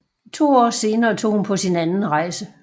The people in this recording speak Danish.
To år senere tog hun på sin anden rejse